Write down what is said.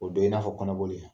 O dɔ ye i n'a fɔ kɔnɔ boli ye.